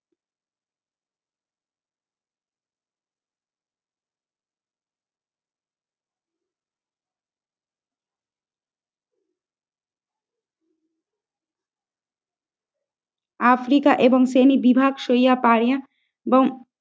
Africa এবং শ্রেণী বিভাগ সইয়া পাইয়া এবং